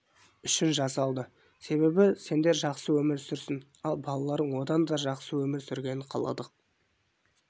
үшін жасалды себебі сендер жақсы өмір сүрсін ал балаларың одан да жақсы өмір сүргенін қаладық